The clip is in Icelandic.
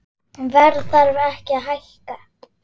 Verð þarf að hækka